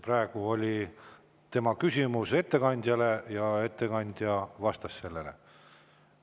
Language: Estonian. Praegu oli tema küsimus ettekandjale ja ettekandja vastas sellele.